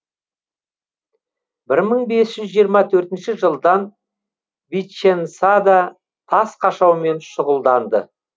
бір мың бес жүз жиырма төртінші жылдан виченцада тас қашаумен шұғылданды